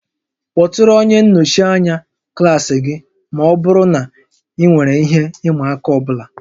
Kpọtụrụ onye nnọchi anya klaasị gị ma ọ bụrụ na ị nwere ihe ịma aka ọ bụla